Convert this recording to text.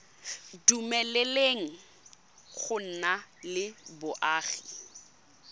dumeleleng go nna le boagi